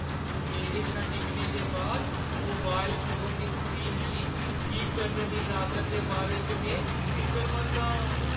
मेरे शा डिग्गने दे बाद मोबाइल फोन दी स्क्रीन गी ठीक करने दी लागता दे बारे च में फिकरमंद आं।